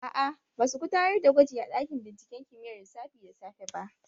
Aa, ba su gudanar da gwaji a ɗakin binciken kimiyyar lissafi da safe ba